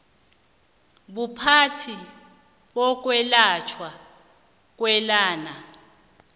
buphathi bokwelatjhwa kweenlwana